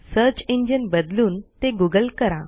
search engine बदलून ते Google करा